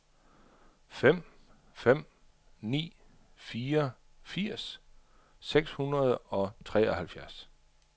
fem fem ni fire firs seks hundrede og treoghalvfjerds